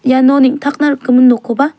iano neng·takna rikgimin nokkoba --